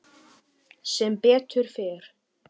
Sem betur fer?